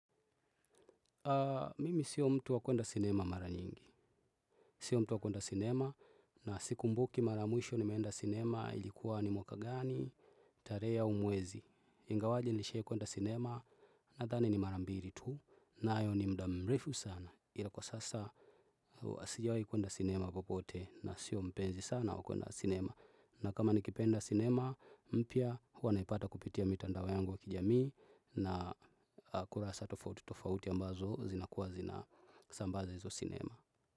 Mimi sio mtu wakwenda sinema mara nyingi. Sio mtu wakwenda sinema na siku mbuki mara ya mwisho ni meenda sinema ilikuwa ni mwaka gani, tarehe au mwezi. Ingawaje nishai kwenda sinema na thani ni marambiri tu na ayo ni mdamrefu sana ilakwa sasa nasijawai kwenda sinema popote na sio mpenzi sana wakwenda sinema. Na kama nikipenda cinema, mpya huwa naipata kupitia mitandao yangu wa kijamii na kura satofauti tofauti ambazo zinakuwa zina sambaza hizo sinema.